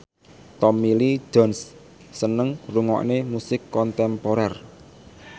Tommy Lee Jones seneng ngrungokne musik kontemporer